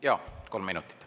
Jaa, kolm minutit.